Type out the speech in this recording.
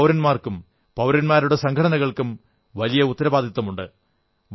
എല്ലാ പൌരന്മാർക്കും പൌരന്മാരുടെ സംഘടനകൾക്കും വലിയ ഉത്തരവാദിത്തമുണ്ട്